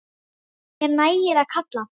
Mér nægir að kalla.